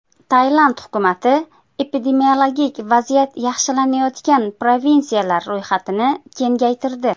Tailand hukumati epidemiologik vaziyat yaxshilanayotgan provinsiyalar ro‘yxatini kengaytirdi.